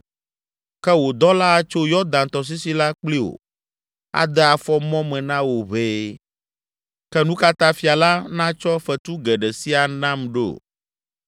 Ke wò dɔla atso Yɔdan tɔsisi la kpli wò, ade afɔ mɔ me na wò ʋɛe. Ke nu ka ta fia la natsɔ fetu geɖe sia nam ɖo?